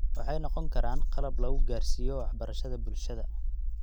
Waxay noqon karaan qalab lagu gaadhsiiyo waxbarashada bulshada.